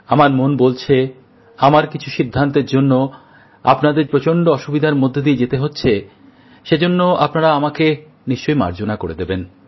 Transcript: আমার মন বলছে আমার কিছু সিদ্ধান্তের জন্য যে আপনাদের প্রচণ্ড অসুবিধার মধ্যে দিয়ে যেতে হচ্ছে সেজন্য আপনারা আমাকে নিশ্চয়ই মার্জনা করে দেবেন